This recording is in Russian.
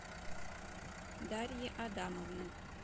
дарьи адамовны